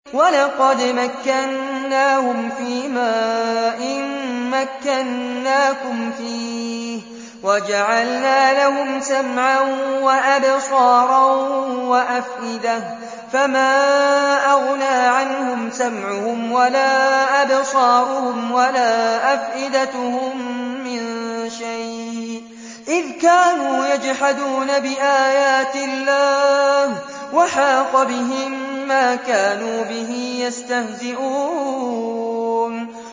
وَلَقَدْ مَكَّنَّاهُمْ فِيمَا إِن مَّكَّنَّاكُمْ فِيهِ وَجَعَلْنَا لَهُمْ سَمْعًا وَأَبْصَارًا وَأَفْئِدَةً فَمَا أَغْنَىٰ عَنْهُمْ سَمْعُهُمْ وَلَا أَبْصَارُهُمْ وَلَا أَفْئِدَتُهُم مِّن شَيْءٍ إِذْ كَانُوا يَجْحَدُونَ بِآيَاتِ اللَّهِ وَحَاقَ بِهِم مَّا كَانُوا بِهِ يَسْتَهْزِئُونَ